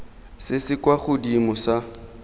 se se kwa godimo sa